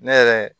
Ne yɛrɛ